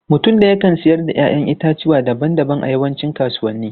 Mutum ɗaya kan siyar da 'ya'yan itatuwa daban-daban a yawancin kasuwanni.